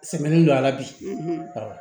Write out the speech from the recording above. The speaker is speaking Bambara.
Sɛmɛni don a la bi ɔ